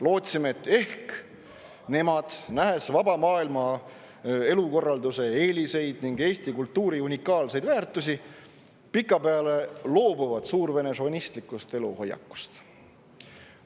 Lootsime, et ehk nemad, nähes vaba maailma elukorralduse eeliseid ning Eesti kultuuri unikaalseid väärtusi, loobuvad pikapeale suurvene šovinistlikust eluhoiakust.